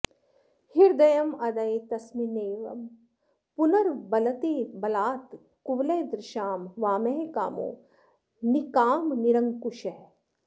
हृदयमदये तस्मिन्नेवं पुनर्वलते बलात् कुवलयदृशां वामः कामो निकामनिरङ्कुशः